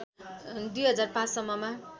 २००५ सम्ममा